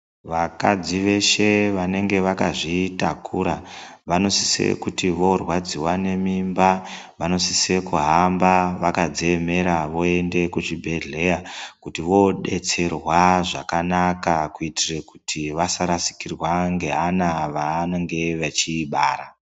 Vakadzi veshe vanenge zvakazvitakura vanosisa kuti vorwadziwa ngemimba vanosisa kuhamba vakadziemera voenda kuzvibhedhleya kuti vodetserwa zvakanaka kuitire kuti vasarashikirwa ngevana vavanenge vachibara.